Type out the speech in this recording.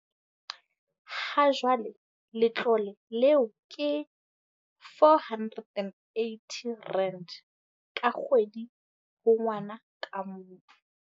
Hajwale letlole leo ke R480 ka kgwedi ho ngwana ka mong.